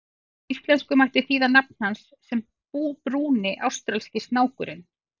Á íslensku mætti þýða nafn hans sem Brúni ástralski snákurinn.